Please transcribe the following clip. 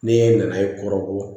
Ne nana ye kɔrɔbɔ